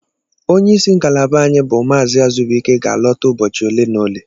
Onye isi ngalaba anyị bụ Mazị Azubuike ga-alọta ụbọchị ole na ole.